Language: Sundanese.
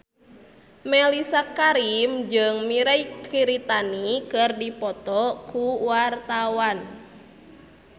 Mellisa Karim jeung Mirei Kiritani keur dipoto ku wartawan